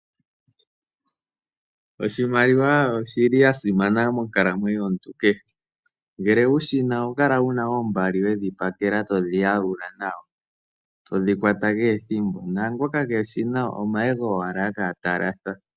Oshimaliwa oshili shasimana monkalamwenyo yakehe gumwe ngeke wushina oho kala wuna oombali wedhi pakela todhi yalula nawa todhi kwata kehe ethimbo naangoka keeshina omahego owala hakala talatha.